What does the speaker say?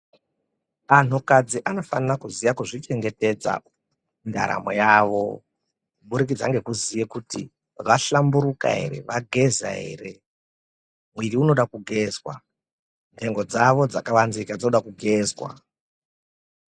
Anhu kadzi anofana kuziva kuzvichengetedza mundaramo yawo kuburikidza ngekuziva kuti vahlamburika here vageza here mwiri inoda kugezwa nhengo dzawo dzakavanzika dzoda kugezwa.